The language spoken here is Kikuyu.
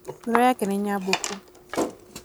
ngoro yake nĩ nyambũku